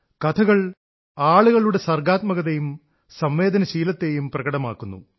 കഥകൾ ആളുകളുടെ സർഗ്ഗാത്മകതയും സംവേദനശീലത്തെയും പ്രകടമാക്കുന്നു